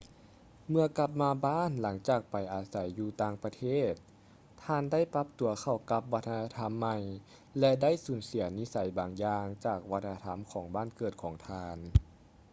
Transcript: ເມື່ອກັບມາບ້ານຫຼັງຈາກໄປອາໄສຢູ່ຕ່າງປະເທດ ທ່ານໄດ້ປັບຕົວເຂົ້າກັບວັດທະນະທຳໃໝ່ ແລະ ໄດ້ສູນເສຍນິໄສບາງຢ່າງຈາກວັດທະນະທຳຂອງບ້ານເກີດຂອງທ່ານເອງ